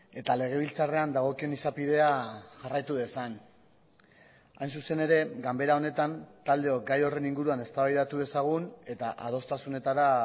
eta legebiltzarrean dagokion izapidea jarraitu dezan hain zuzen ere ganbera honetan taldeok gai horren inguruan eztabaidatu dezagun eta adostasunetara